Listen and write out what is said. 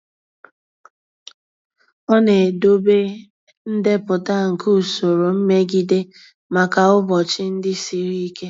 Ọ na-edobe ndepụta nke usoro mmegide maka ụbọchị ndị siri ike.